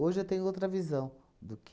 eu tenho outra visão do que...